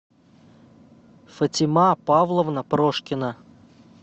фатима павловна прошкина